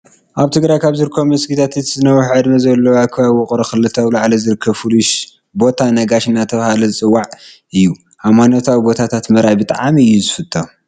ኣብ ትግራይ ካብ ዝርከቡ መስጊታት እቲ ዝነውሓ ዕድመ ዘለዎ ኣብ ከባቢ ውቅሮ ክልተ ኣውላዕሎ ዝርከብ ፍሉይ ቦታ ነጋሽ እናተብሃለ ዝፅዋዕ እዩ። ሃይማኖታዊ ቦታታት ምርኣይ ብጣዕሚ እየ ዝፈትው።